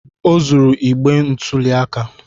O zuru igbe ntụli aka